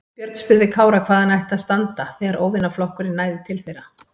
Björn spurði Kára hvar hann ætti að standa þegar óvinaflokkurinn næði til þeirra.